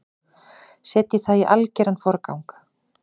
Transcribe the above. Setjið það í algeran forgang.